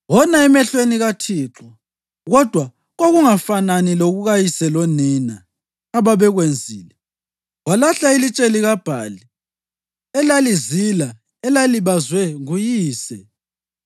Wona emehlweni kaThixo, kodwa kwakungafanani lokukayise lonina ababekwenzile. Walahla ilitshe likaBhali elalizila elalibazwe nguyise.